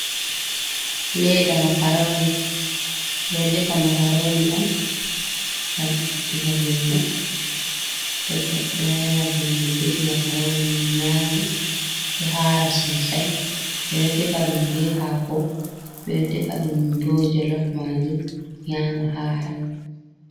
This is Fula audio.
Ledda makaroni ɓe ɗo defa makaroni on ngam ittugo velo to goɗɗo ɗo nana velo defi makaroni m nyami ɗo hara sosai ɓe ɗo defa ɗum be hako ɓe ɗo defa ɗum ɓo jolof majum nyama hara.